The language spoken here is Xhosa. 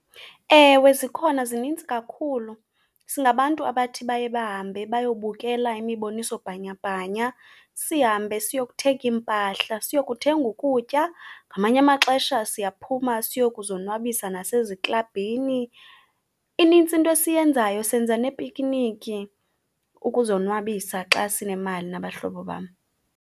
Ewe zikhona zinintsi kakhulu. Singabantu abathi baye bahambe bayobukela imiboniso bhanyabhanya. Sihambe siyokuthenga iimpahla, siyokuthenga ukutya, ngamanye amaxesha siyaphuma siyokuzonwabisa naseziklabhini. Inintsi into esiyenzayo, senza neepikiniki ukuzonwabisa xa sinemali nabahlobo bam.